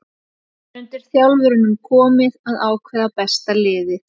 Það er undir þjálfurunum komið að ákveða besta liðið.